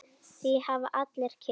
Því hafa allir kynnst.